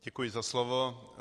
Děkuji za slovo.